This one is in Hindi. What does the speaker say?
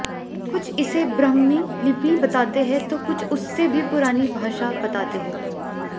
कुछ इसे ब्राह्मी लिपि बताते हैं तो कुछ उससे भी पुरानी भाषा बताते हैं